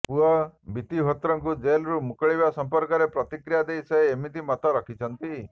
ପୁଅ ବିତ୍ତିହୋତ୍ରଙ୍କୁ ଜେଲରୁ ମୁକୁଳିବା ସଂପର୍କରେ ପ୍ରତିକ୍ରିୟା ଦେଇ ସେ ଏମିତି ମତ ରଖିଛନ୍ତି